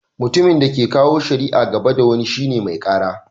Mutumin da ke kawo shari'a gaba da wani shine "Mai Kara."